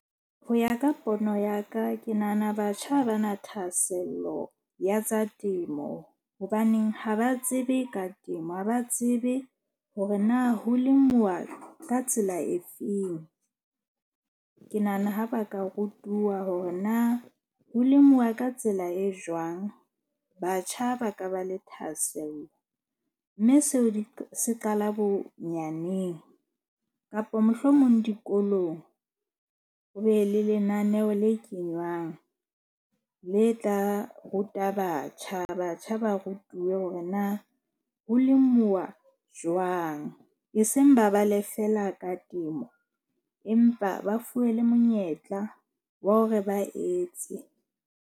Ho ya ka pono ya ka, ke nahana batjha ha ba na thahasello ya tsa temo. Hobaneng ha ba tsebe ka temo, ha ba tsebe hore na ho lemuwa ka tsela e feng. Ke nahana ha ba ka rutuwa hore na ho lemiwa ka tsela e jwang. Batjha ba ka ba le thahasello mme seo se qala bonyaneng kapa mohlomong dikolong, ho be le lenaneo le kenywang le tla ruta batjha. Batjha ba rutuwe hore na ho lemuwa jwang, e seng ba bale feela ka temo. Empa ba fuwe le monyetla wa hore ba etse.